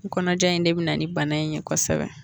Kɔnɔja in de bɛ na ni bana in ye kosɛbɛ.